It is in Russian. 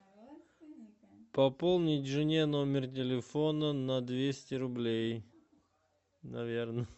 пополнить жене номер телефона на двести рублей наверно